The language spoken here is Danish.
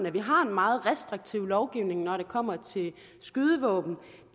at vi har en meget restriktiv lovgivning når det kommer til skydevåben og